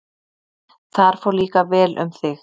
Þar fór líka vel um þig.